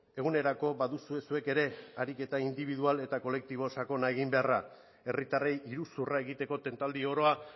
egunerako baduzue zuek ere ariketa indibidual eta kolektibo sakona egin beharra herritarrei iruzurra egiteko tentaldi oroa